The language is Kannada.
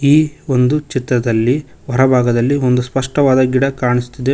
ಈ ಒಂದು ಚಿತ್ರದಲ್ಲಿ ಹೊರಭಾಗದಲ್ಲಿ ಒಂದು ಸ್ಪಷ್ಟವಾದ ಗಿಡ ಕಾಣಿಸುತ್ತಿದೆ ಮ--